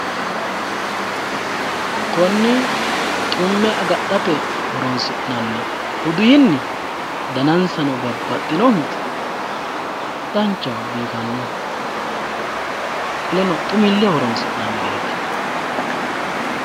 konni xumme agadhate horonsi'nanni udiinni danansano babaxinohu danchaho biifanno qoleno xumilleho horonsi'nanireeti.